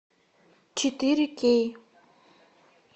четыре кей